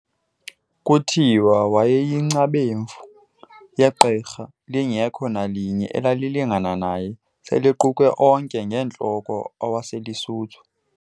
Kuthiwa wayeyingcamevu yegqirha, lingekho nalinye elaye lilingana naye, sel'equkwe onke ngeentloko awaseluSuthu.